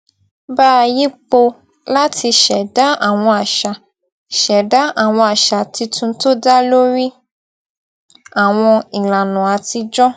bá yípo láti ṣẹdá àwọn àṣà ṣẹdá àwọn àṣà tuntun tó dá lórí àwọn ìlànà àtijó